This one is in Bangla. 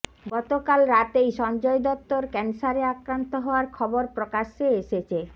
গতকাল রাতেই সঞ্জয় দত্তর ক্যান্সারে আক্রান্ত হওয়ার খবর প্রকাশ্যে এসেছে